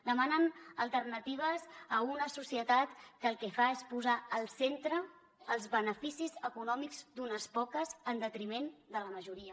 demanen alternatives a una societat que el que fa és posar al centre els beneficis econòmics d’unes poques en detriment de la majoria